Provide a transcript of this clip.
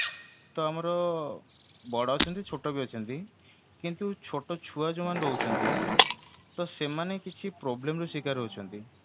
ତ ଆମର ବଡ ଅଛନ୍ତି ଛୋଟ ବି ଅଛନ୍ତି କିନ୍ତୁ ଛୋଟ ଛୁଆ ଯୋଉମାନେ ରହୁଛନ୍ତି ତ ସେମାନେ କିଛି problem ର ଶିକାର ହଉଛନ୍ତି